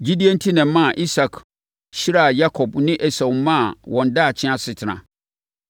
Gyidie enti na ɛmaa Isak hyiraa Yakob ne Esau maa wɔn daakye asetena.